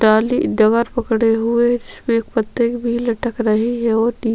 डाली दगल पकड़े हुए जिसमें पत्ते भी लटक रहै है ओर नई --